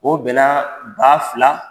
O bɛna ba fila.